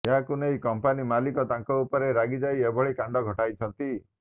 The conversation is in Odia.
ଏହାକୁ ନେଇ କମ୍ପାନି ମାଲିକ ତାଙ୍କ ଉପରେ ରାଗି ଯାଇ ଏଭଳି କାଣ୍ଡ ଘଟାଇଛନ୍ତି